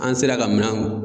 An sera ka minɛn